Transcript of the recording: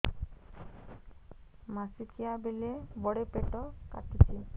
ମାସିକିଆ ବେଳେ ବଡେ ପେଟ କାଟୁଚି